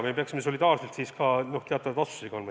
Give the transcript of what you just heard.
Siis me peaksime tulevikus solidaarselt ka teatavaid vastuseid andma.